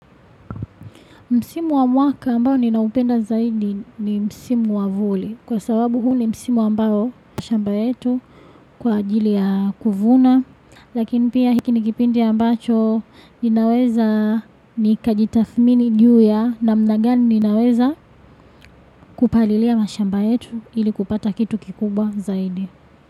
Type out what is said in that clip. Msimu wa mwaka ambao ninaupenda zaidi ni Msimu wa vuli kwa sababu huu ni Msimu ambao mashamba yetu kwa ajili ya kuvuna. Lakini pia hiki ni kipindi ya ambacho ninaweza ni kajitafmini juya na mnagani ninaweza kupalilia mashamba yetu ili kupata kitu kikuba zaidi.